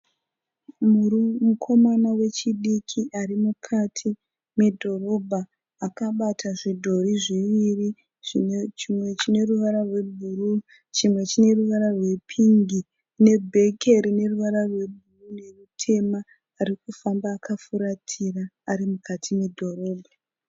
Mukomana wechidiki ari mukati medhorobha akabata zvidhori zviviri chimwe chine ruvara rebhuruu chimwe chine ruvara rwepingi nebheke rine ruvara rutema. Ari kufamba akafuratira ari mukati medhorobha.